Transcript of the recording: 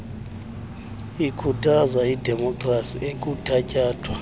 ikhuthaza idemopkhrasi ekuthatyathwa